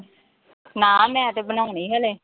ਨਾ ਮੈਂ ਤੇ ਬਣਾਉਣੀ ਹਲੇ।